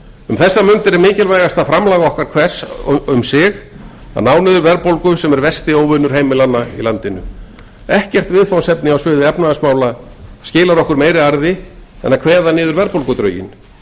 um þessar stundir er mikilvægasta framlag hvers okkar að ná niður verðbólgu sem er versti óvinur heimilanna í landinu ekkert viðfangsefni á sviði efnahagsmála skilar okkur meiri arði en að kveða niður verðbólgudrauginn